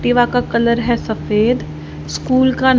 दीवार का कलर है सफेद स्कूल का--